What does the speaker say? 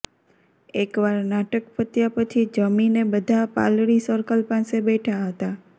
એકવાર નાટક પત્યા પછી જમીને બધાં પાલડી સર્કલ પાસે બેઠા હતા